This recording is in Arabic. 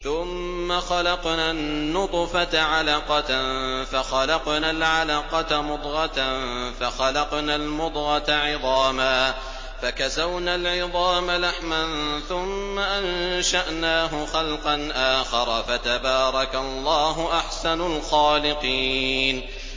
ثُمَّ خَلَقْنَا النُّطْفَةَ عَلَقَةً فَخَلَقْنَا الْعَلَقَةَ مُضْغَةً فَخَلَقْنَا الْمُضْغَةَ عِظَامًا فَكَسَوْنَا الْعِظَامَ لَحْمًا ثُمَّ أَنشَأْنَاهُ خَلْقًا آخَرَ ۚ فَتَبَارَكَ اللَّهُ أَحْسَنُ الْخَالِقِينَ